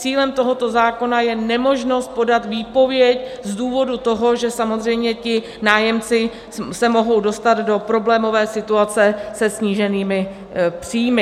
Cílem tohoto zákona je nemožnost podat výpověď z důvodu toho, že samozřejmě ti nájemci se mohou dostat do problémové situace se sníženými příjmy.